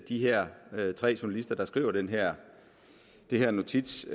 de her tre journalister der skrev den her her notits